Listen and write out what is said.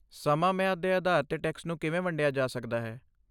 ਸਮਾਂ ਮਿਆਦ ਦੇ ਆਧਾਰ 'ਤੇ ਟੈਕਸ ਨੂੰ ਕਿਵੇਂ ਵੰਡਿਆ ਜਾ ਸਕਦਾ ਹੈ?